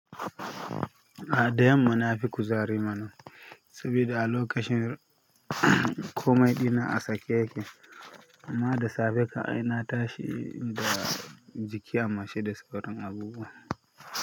A, da yanma na fi kuzari mana sabida a location komai ɗina a sake yake. Amma da safe kam ai na tashi eehh da jiki a mace da sauran abubuwa.